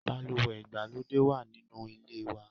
Balùwẹ̀ ìgbàlódé wà nínú ilé wa.